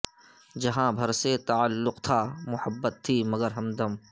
جہاں بھر سے تعلق تھا محبت تھی مگر ہمدم